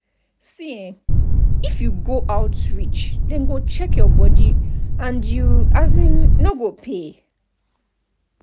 see eh if you go outreach dem go chheck your body and you um no go pay.